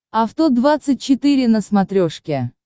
авто двадцать четыре на смотрешке